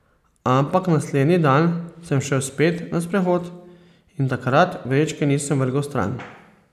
Ampak naslednji dan sem šel spet na sprehod in takrat vrečke nisem vrgel stran.